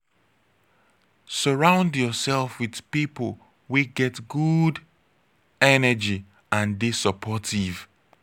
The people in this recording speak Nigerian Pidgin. surround yourself with pipo wey get good energy and de supportive